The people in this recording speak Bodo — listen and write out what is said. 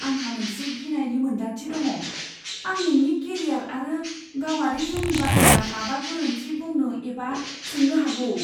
आंहा मोनसे गिनायनि मोनदांथि दङ, आं नोंनि केरियार आरो गावारि जिउनि बाथ्रा माबा गोरोन्थि बुंनो एबा सोंनो हागौ।